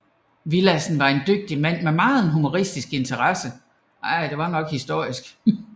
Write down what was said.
Villadsen var en dygtig mand med megen historisk interesse